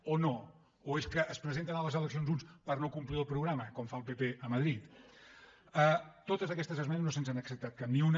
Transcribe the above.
o no o és que es presenten a les eleccions uns per no complir el programa com fa el pp a madrid de totes aquestes esmenes no se’ns n’ha acceptat cap ni una